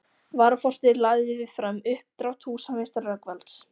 Varaforseti lagði fram uppdrátt húsameistara Rögnvalds